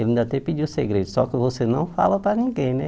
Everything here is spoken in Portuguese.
Ele ainda até pediu segredo, só que você não fala para ninguém, né?